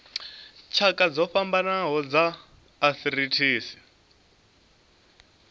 tshakha dzo fhambanaho dza arthritis